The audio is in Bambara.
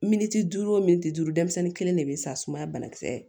Miniti duuru o miniti duuru denmisɛnnin kelen de bɛ sa sumaya banakisɛ